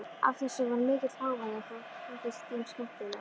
Af þessu varð mikill hávaði og það þótti þeim skemmtilegt.